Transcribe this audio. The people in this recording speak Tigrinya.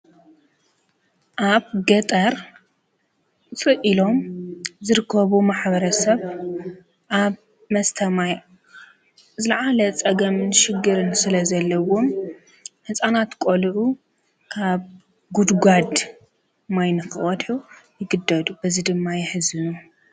ኣብ ገጠር ውፅእ አሎም ምዝርከቡ ማኅበረ ሰብ ኣብ መስተማይ ለዓለ ጸገምን ሽግርን ስለ ዘለዉን መፃናት ቆልዑ ካብ ግድጓድ ማይነፍወትው ይግደዱ በዝ ድማ የሕዝኑ ::